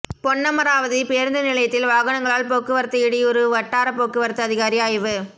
பொன்னமராவதி பேருந்து நிலையத்தில் வாகனங்களால் போக்குவரத்து இடையூறு வட்டார போக்குவரத்து அதிகாரி ஆய்வு